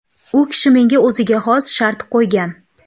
U kishi menga o‘ziga xos shart qo‘ygan.